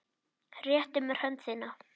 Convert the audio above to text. Réttir mér hönd þína.